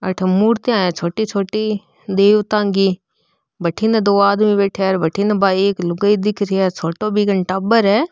आठे मूर्तिया है छोटी छोटी देवता की बठीने दो आदमी बैठा है और बठीने बा एक लुगाई दिखरी है छोटो बी कन टाबर है।